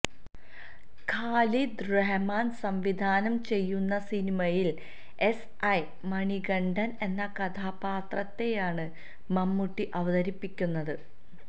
ഖാലിദ് റഹ്മാന് സംവിധാനം ചെയ്യുന്ന സിനിമയില് എസ് ഐ മണികണ്ഠന് എന്ന കഥാപാത്രത്തെയാണ് മമ്മൂട്ടി അവതരിപ്പിക്കുന്നത്